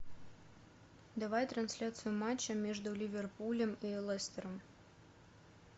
давай трансляцию матча между ливерпулем и лестером